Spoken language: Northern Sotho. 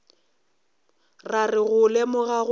ra re go lemoga gore